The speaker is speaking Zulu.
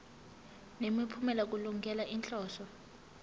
nemiphumela kulungele inhloso